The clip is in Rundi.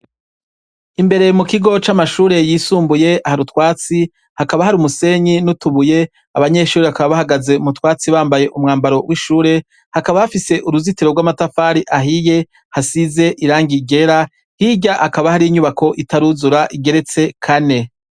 Imbere mukigo c’amashure y’isumbuye har’utwatsi, hakaba h’arumusenyi n’utubuye, abanyeshure bakaba bahagaze mutwatsi bambaye umwambaro w’ishure, hakaba hafise uruzitiro rw’amatafari ahiye, hasize irangi ryera, hirya hakaba har’inyubako itaruzura igeretse Kane.